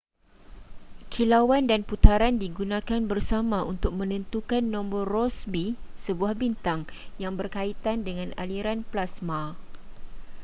kilauan dan putaran digunakan bersama untuk menentukan nombor rossby sebuah bintang yang berkaitan dengan aliran plasma